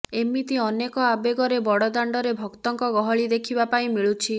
ଏମିତି ଅନେକ ଆବେଗରେ ବଡ଼ଦାଣ୍ଡରେ ଭକ୍ତଙ୍କ ଗହଳି ଦେଖିବା ପାଇଁ ମିଳୁଛି